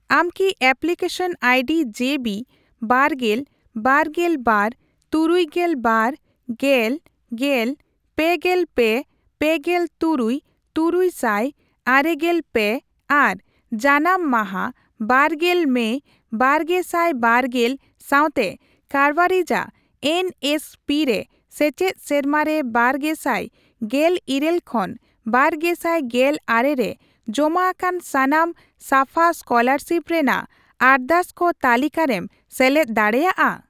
ᱟᱢ ᱠᱤ application ID ᱡᱮ ᱵᱤ ᱵᱟᱨᱜᱮᱞ ,ᱵᱟᱨᱜᱮᱞ ᱵᱟᱨ ,ᱛᱩᱨᱩᱭᱜᱮᱞ ᱵᱟᱨ ,ᱜᱮᱞ ,ᱜᱮᱞ ,ᱯᱮᱜᱮᱞ ᱯᱮ, ᱯᱮᱜᱮᱞ ᱛᱩᱨᱩᱭ ,ᱛᱩᱨᱩᱭ ᱥᱟᱭ ᱟᱮᱜᱮᱞ ᱯᱮ ᱟᱨ ᱡᱟᱱᱟᱢ ᱢᱟᱹ ᱵᱟᱨᱜᱮᱞ ᱢᱮᱭ ᱵᱟᱨᱜᱮᱥᱟᱭᱵᱟᱨᱜᱮᱞ ᱥᱟᱣᱛᱮ ᱠᱟᱨᱵᱟᱨᱤᱡᱟᱜ ᱮᱱ ᱮᱥ ᱯᱤ ᱨᱮ ᱥᱮᱪᱮᱫ ᱥᱮᱨᱢᱟ ᱨᱮ ᱵᱟᱨᱜᱮᱥᱟᱭ ᱜᱮᱞᱤᱨᱟᱹᱞ ᱠᱷᱚᱱ, ᱵᱟᱨᱜᱮᱥᱟᱭ ᱜᱮᱞ ᱟᱨᱮ ᱨᱮ ᱡᱚᱢᱟ ᱟᱠᱟᱱ ᱥᱟᱱᱟᱢ ᱥᱟᱯᱷᱟ ᱥᱠᱚᱞᱟᱨᱥᱤᱯ ᱨᱮᱱᱟᱜ ᱟᱨᱫᱟᱥᱠᱚ ᱛᱟᱹᱞᱤᱠᱟᱨᱮᱢ ᱥᱮᱞᱮᱫ ᱫᱟᱲᱮᱭᱟᱜᱼᱟ ?